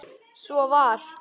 Svo var.